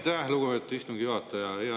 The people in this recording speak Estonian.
Aitäh, lugupeetud istungi juhataja!